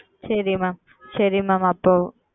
சரி Mam சரி Mam அப்பொழுது